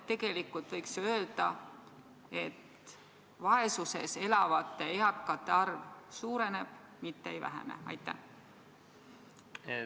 Tegelikult võiks öelda, et vaesuses elavate eakate arv suureneb, mitte ei vähene.